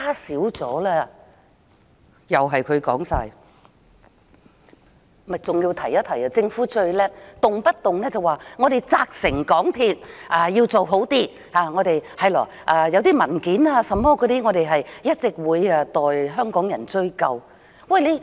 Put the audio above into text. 我還要提一提，政府最了不起的就是動輒說會責成港鐵公司改善，關於文件等問題，政府會一直代香港人追究。